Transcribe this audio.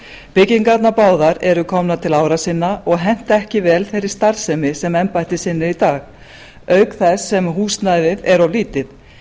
byggingarnar báðar eru komnar til ára sinna og henta ekki vel þeirri starfsemi sem embættið sinnir í dag auk þess sem húsnæðið er of lítið